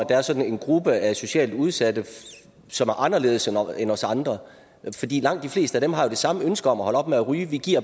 er sådan en gruppe af socialt udsatte som er anderledes end os andre langt de fleste af dem har jo det samme ønske om at holde op med at ryge vi giver